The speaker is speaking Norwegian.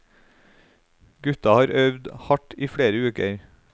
Gutta har øvd hardt i flere uker.